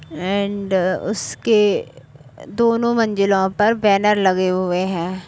And उसके दोनों मंजिलों पर बैनर लगे हुए हैं।